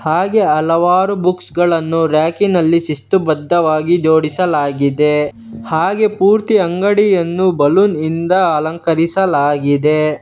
ಹಾಗೆ ಹಲವಾರು ಬುಕ್ಸ್ ಗಳನ್ನು ರ್ಯಾಕಿ ನಲ್ಲಿ ಶಿಸ್ತು ಬದ್ಧವಾಗಿ ಜೋಡಿಸಲಾಗಿದೆ ಹಾಗೆ ಪೂರ್ತಿ ಅಂಗಡಿಯನ್ನು ಬಲೂನ್ ನಿಂದ ಅಲಂಕರಿಸಲಾಗಿದೆ.